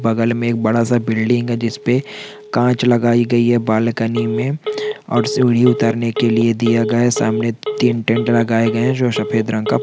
बगल में एक बड़ा -सा बिल्डिंग है जिस पे कांच लगाई गई है बालकनी में और सीढ़ी उतारने के लिए दिया गया सामने तीन टेंट लगाए गए हैं जो सफेद रंग का--